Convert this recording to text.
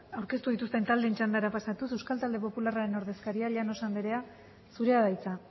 aurkeztu dituzten taldeen txandara pasatuz euskal talde popularraren ordezkaria llanos andrea zurea da hitza